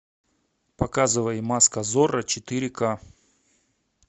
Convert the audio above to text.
показывай маска зорро четыре ка